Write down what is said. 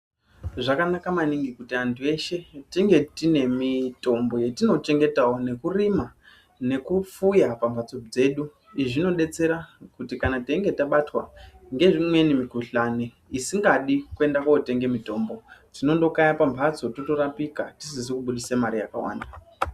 Zvakanaka maningi kuti antu eshe tinge tinemitombo yetinochengetawo nekurima nekufuya pamhatso dzedu izvi zvinodetsera kana twinge tabatwa ngeimwe mikhuhlani isingadi kuende kotenga mitombo tinondokaya pamhatso totorapika tisizi kubudisa mare yakawanda.